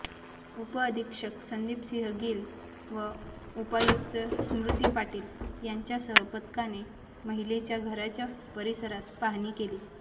उपअधीक्षक संदीपसिंह गील व उपायुक्त स्मृती पाटील यांच्यासह पथकाने महिलेच्या घराच्या परिसरात पाहणी केली